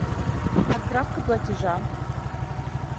отправка платежа